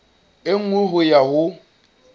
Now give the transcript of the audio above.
e nngwe ho ya ho